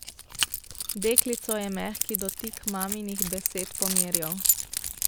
Deklico je mehki dotik maminih besed pomirjal.